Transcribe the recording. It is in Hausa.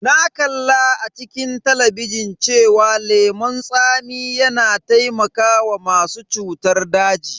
Na kalla a cikin talabijin cewa lemon tsami yana taimakawa masu cutar daji.